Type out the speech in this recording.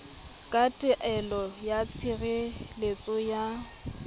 ka taelo ya tshireletso ya